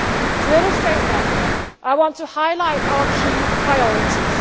To illustrate that, I want to highlight our key priorities.